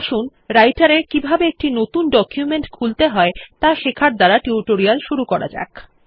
আসুন রাইটের এ কিভাবে একটি নতুন ডকুমেন্ট খুলতে হয় ত়া শেখার দ্বারা টিউটোরিয়াল শুরু করা যাক